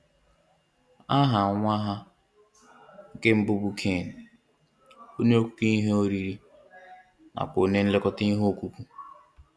Aha nwa ha nke mbụ bụ Cain, onye ọkụkụ ihe oriri nakwa onye nlekọta ihe ọkụkụ